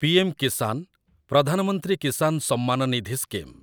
PM Kisan Pradhan Mantri Kisan Samman Nidhi scheme